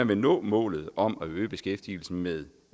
vil nå målet om at øge beskæftigelsen med